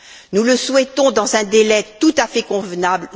Nous le souhaitons dans un délai tout à fait convenable.